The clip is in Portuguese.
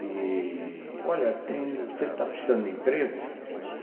E, olha, você está precisando de emprego?